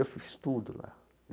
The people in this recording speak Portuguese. Eu fiz tudo lá.